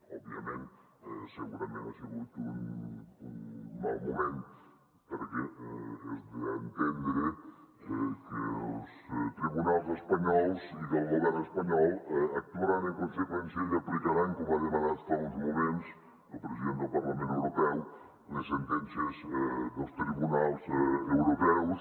òbvia ment segurament ha sigut un mal moment perquè és d’entendre que els tribunals espanyols i que el govern espanyol actuaran en conseqüència i aplicaran com ha demanat fa uns moments el president del parlament europeu les sentències dels tribunals europeus